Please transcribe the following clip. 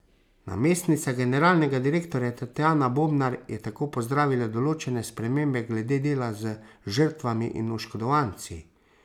Namestnica generalnega direktorja Tatjana Bobnar je tako pozdravila določene spremembe glede dela z žrtvami in oškodovanci.